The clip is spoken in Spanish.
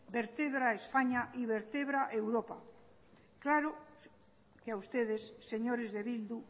vertebra españa y vertebra europa claro que a ustedes señores de bildu